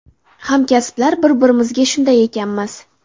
Hamkasblar bir-birimizga shunday ekanmiz.